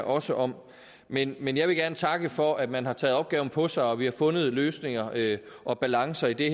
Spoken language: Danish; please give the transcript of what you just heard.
også om men men jeg vil gerne takke for at man har taget opgaven på sig og at vi har fundet løsninger og balancer i det